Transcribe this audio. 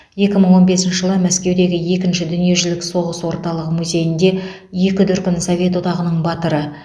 екі мың он бесінші жылы мәскеудегі екінші дүниежүзілік соғыс орталық музейінде екі дүркін совет одағының батыры